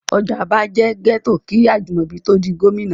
Ọjà'ba jẹ́ gẹ́tò kí Ajimobi tó ó di gómìnà.